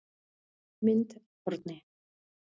Mynd Árni